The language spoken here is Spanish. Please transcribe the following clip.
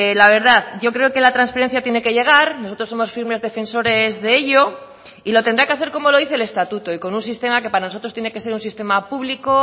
la verdad yo creo que la transferencia tiene que llegar nosotros somos firmes defensores de ello y lo tendrá que hacer como lo dice el estatuto y con un sistema que para nosotros tiene que ser un sistema público